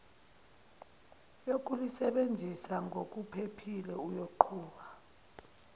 yokulisebenzisa ngokuphephile uyoqhuba